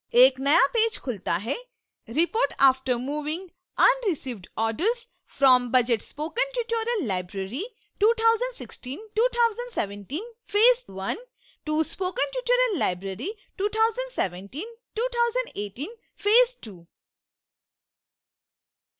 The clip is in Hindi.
एक नया पेज खुलता है